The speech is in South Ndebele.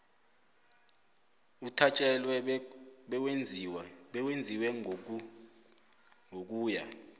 uthatjelwe bewenziwe ngokuya